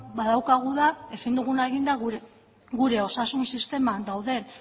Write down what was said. badaukagu ezin duguna egin da gure osasun sisteman